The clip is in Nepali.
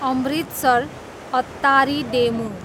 अमृतसर, अत्तारी डेमु